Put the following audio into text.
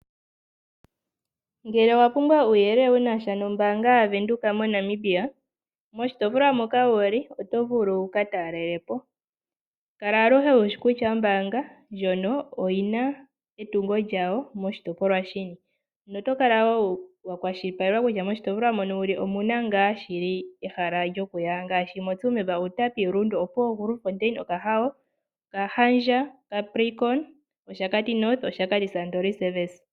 Ngele owapumbwa uyelele wunasha nombanga yavenduka moNamibia moshitopolwa moka wuli oto vulu wikatalelepo kala aluhe wushikutya ombanga ndjono oyina etungo lyawo moshitopolwa shini notokala wo wakwashilipakeka kutya moshitopolwa mono wuli omuna nga shili ehala lyokuya ngashi , mOtsumeb, Uutapi, Olundu, Opuwo, Okahawo, Okahandja, Kaprikono, Oshakati North, Oshakati sandoline sevesa.